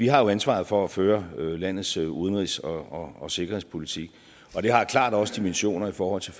har ansvaret for at føre landets udenrigs og og sikkerhedspolitik og det har klart også dimensioner i forhold til